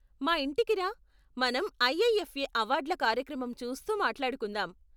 మా ఇంటికి రా, మనం ఐఐఎఫ్ఏ అవార్డ్ల కార్యక్రమం చూస్తూ మాట్లాడుకుందాం.